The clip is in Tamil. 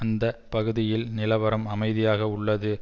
அந்த பகுதியில் நிலவரம் அமைதியாக உள்ளது